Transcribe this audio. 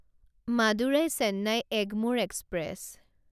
Madurai Chennai Egmore express